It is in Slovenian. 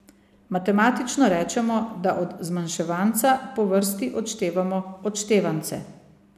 Matematično rečemo, da od zmanjševanca po vrsti odštevamo odštevance.